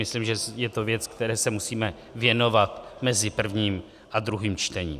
Myslím, že je to věc, které se musíme věnovat mezi prvním a druhým čtením.